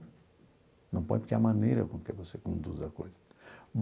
Não põe porque é a maneira com que você conduz a coisa.